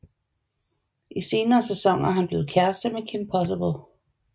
I senere sæsoner er han blevet kæreste med Kim Possible